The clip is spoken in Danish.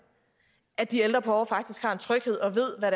at de ældre borgere faktisk har en tryghed og ved hvad